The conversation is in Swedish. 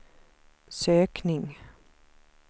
sökning